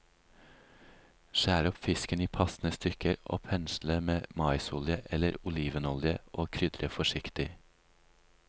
Skjær opp fisken i passende stykker og pensle med maisolje eller olivenolje og krydre forsiktig.